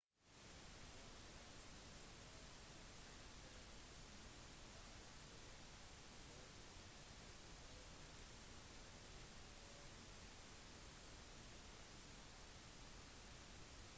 «hun er ganske skjønn og synger meget bra i tillegg» fortalte han ifølge en utskrift av nyhetskonferansen